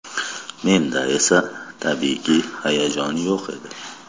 Menda esa, tabiiyki, hayajon yo‘q edi.